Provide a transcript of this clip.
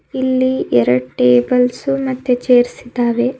ಇಲ್ಲಿ ಎರಡ್ ಟೇಬಲ್ಸು ಮತ್ತೆ ಚೇರ್ಸಿದ್ದಾವೆ.